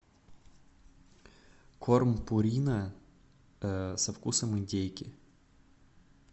корм пурина со вкусом индейки